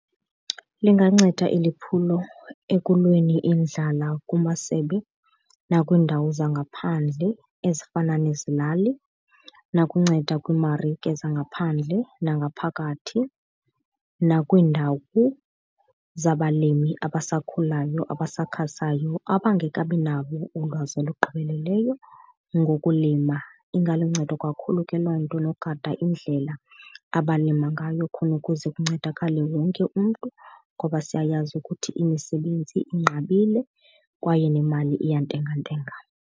Linganceda eli phulo ekulweni indlala kumasebe nakwiindawo zangaphandle ezifana nezilali, nokunceda kwiimarike zangaphandle nangaphakathi nakwiindawo zabalimi abasakhulayo abasakhasayo abangekabi nalo ulwazi olugqibeleleyo ngokulima. Ingaluncedo kakhulu ke loo nto nogada indlela abalima ngayo khona ukuze kuncedakale wonke umntu ngoba siyayazi ukuthi imisebenzi inqabile kwaye nemali iyantengantenga.